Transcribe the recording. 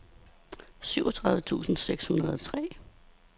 syvogtredive tusind seks hundrede og tre